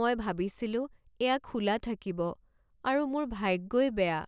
মই ভাবিছিলোঁ এয়া খোলা থাকিব আৰু মোৰ ভাগ্যই বেয়া।